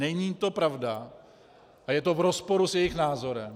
Není to pravda a je to v rozporu s jejich názorem.